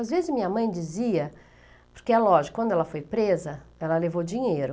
Às vezes minha mãe dizia, porque é lógico, quando ela foi presa, ela levou dinheiro.